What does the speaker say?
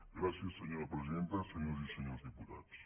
gràcies senyora presidenta senyores i senyors diputats